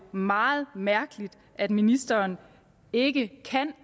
meget mærkeligt at ministeren ikke kan